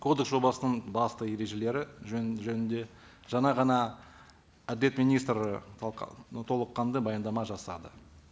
кодекс жобасының басты ережелері жөнінде жаңа ғана әділет министрі толыққанды баяндама жасады